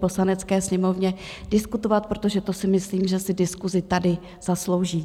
Poslanecké sněmovny diskutovat, protože to si myslím, že si diskusi tady zaslouží.